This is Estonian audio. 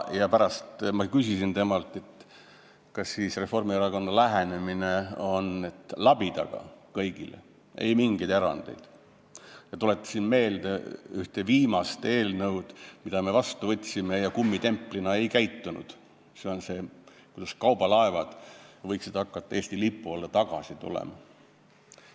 Ma pärast küsisin temalt, kas Reformierakonna lähenemine on see, et labidaga kõigile, ei mingeid erandeid, ja tuletasin meelde ühte viimast eelnõu, mille me seadusena vastu võtsime ja siis kummitemplina ei käitunud – see oli see, et kaubalaevad võiksid hakata Eesti lipu alla tagasi tulema.